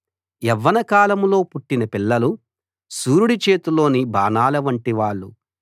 యవ్వన కాలంలో పుట్టిన పిల్లలు శూరుడి చేతిలోని బాణాల వంటివాళ్ళు